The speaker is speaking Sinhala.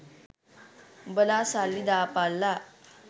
උඹලා සල්ලි දාපල්ලා